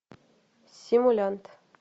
симулянт